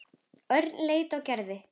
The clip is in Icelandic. Örn leit á Gerði.